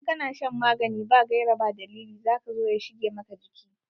Idan ka na shan magani ba gaira ba dalili za ka zo ya shige maka jiki.